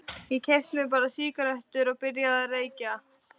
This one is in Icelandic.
Ég keypti mér bara sígarettur og byrjaði að reykja.